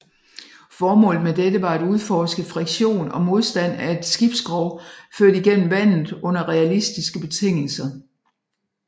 Formålet med dette var at udforske friktion og modstand af et skibsskrog ført igennem vandet under realistiske betingelser